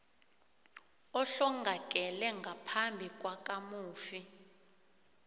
ohlongakele ngaphambi kwakamufi